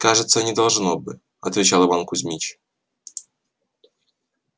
кажется не должно бы отвечал иван кузмич